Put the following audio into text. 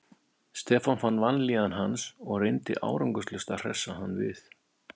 Stefán fann vanlíðan hans og reyndi árangurslaust að hressa hann við.